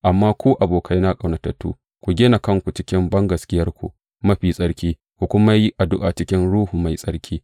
Amma ku, abokaina ƙaunatattu, ku gina kanku cikin bangaskiyarku mafi tsarki, ku kuma yi addu’a cikin Ruhu Mai Tsarki.